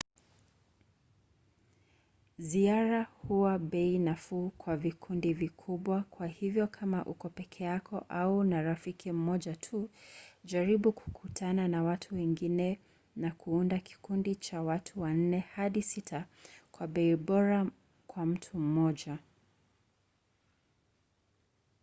ziara huwa bei nafuu kwa vikundi vikubwa kwa hivyo kama uko peke yako au na rafiki mmoja tu jaribu kukutana na watu wengine na kuunda kikundi cha watu wanne hadi sita kwa bei bora kwa mtu mmoja